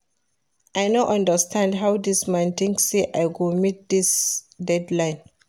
I no understand how dis man think say I go meet dis deadline